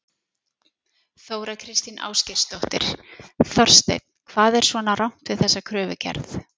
Þóra Kristín Ásgeirsdóttir: Þorsteinn hvað er svona rangt við þessa kröfugerð?